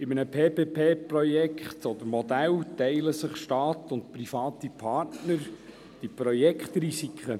In einem PPP-Modell teilen sich Staat und private Partner die Projektrisiken.